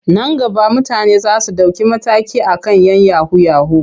Nan gaba mutane za su ɗauki mataki a kan 'yan yahu-yahu.